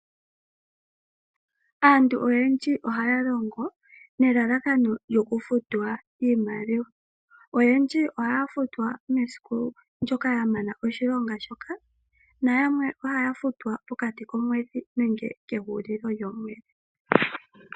Aantu oyendji ohaya longo nelalakano olyo ku futwa iimaliwa. Oyendji ohaya futwa mesiku ndyoka ya mana oshilonga shoka nayamwe ohaya futwa pokati komwedhi nenge kehulilo lyomwedhi.